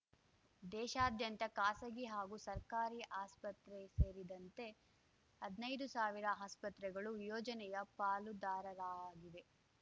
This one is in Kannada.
ದೇಶಾದ್ಯಂತದ ಖಾಸಗಿ ಹಾಗೂ ಸರ್ಕಾರಿ ಆಸ್ಪತ್ರೆ ಸೇರಿದಂತೆ ಹದ್ನೈದು ಸಾವಿರ ಆಸ್ಪತ್ರೆಗಳು ಯೋಜನೆಯ ಪಾಲುದಾರರಾಗಿವೆ